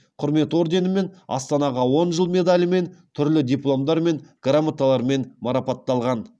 құрмет орденімен астанаға он жыл медалімен түрлі дипломдармен грамоталармен марапатталған